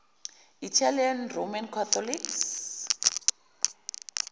italian roman catholics